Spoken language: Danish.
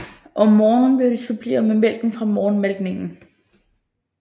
Om morgenen blev de suppleret med mælken fra morgenmalkningen